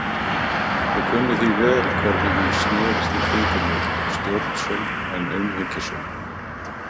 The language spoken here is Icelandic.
Ég kunni því vel hvernig hún snerist í kringum mig, stjórnsöm en umhyggjusöm.